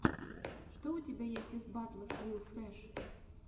что у тебя есть из батлов лил фрэш